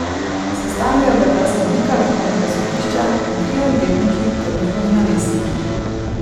Sestavljajo ga dva sodnika vrhovnega sodišča in trije odvetniki ter njihovi namestniki.